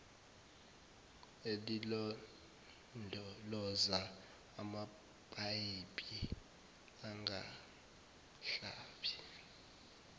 elilondoloza amapayipi angahlali